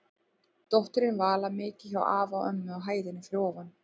Dóttirin Vala mikið hjá afa og ömmu á hæðinni fyrir ofan.